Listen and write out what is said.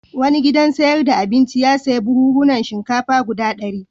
Wani gidan sayar da abinci ya sayi buhunhunan shinkafa guda ɗari.